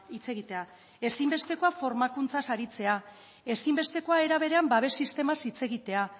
hitz egitea ezinbestekoa formakuntzaz aritzea ezinbestekoa era berean babes sistemaz hitz egitea